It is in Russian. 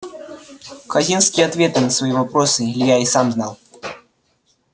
хазинские ответы на свои вопросы илья и сам знал